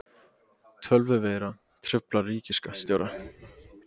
Tölvuveira truflar ríkisskattstjóra